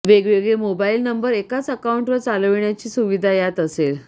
वेगवेगळे mobile number एकाच अकाउंटवर चालविण्याची सुविधा यात असेल